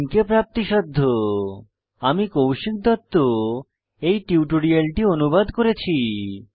spoken hyphen tutorial dot org slash NMEICT hyphen intro আমি কৌশিক দত্ত এই টিউটোরিয়ালটি অনুবাদ করেছি